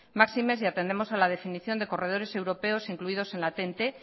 máxime si atendemos a la definición de corredores europeos incluidos en la